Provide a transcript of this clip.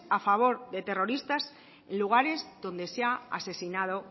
a favor de terroristas en lugares donde se ha asesinado